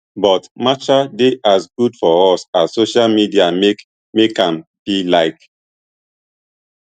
but matcha dey as good for us as social media make make am be like